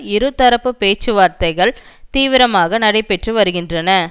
இருதரப்பு பேச்சு வார்த்தைகள் தீவிரமாக நடைபெற்று வருகின்றன